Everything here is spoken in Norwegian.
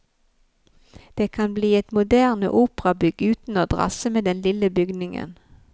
Det kan bli et moderne operabygg uten å drasse med den lille bygningen.